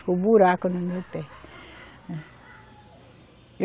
Ficou buraco no meu pé.